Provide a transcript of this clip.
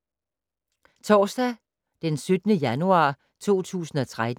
Torsdag d. 17. januar 2013